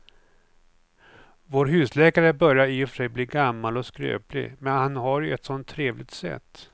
Vår husläkare börjar i och för sig bli gammal och skröplig, men han har ju ett sådant trevligt sätt!